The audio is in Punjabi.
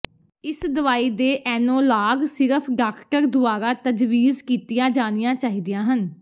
ਇਸ ਦਵਾਈ ਦੇ ਐਨੌਲਾਗ ਸਿਰਫ ਡਾਕਟਰ ਦੁਆਰਾ ਤਜਵੀਜ਼ ਕੀਤੀਆਂ ਜਾਣੀਆਂ ਚਾਹੀਦੀਆਂ ਹਨ